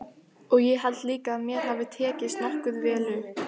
Og ég held líka að mér hafi tekist nokkuð vel upp.